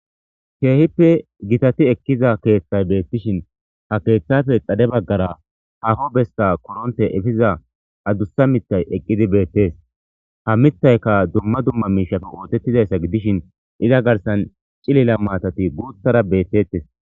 keehippe gitati ekkiza keeththay beettishin ha keeththafe dade baggara haho besta koronte efiza adussa mitay eqqidi beettes ha mittayka dumma dumma miishato ootettizayssa gidishin iza garsan cilila maatati guuthara beettettes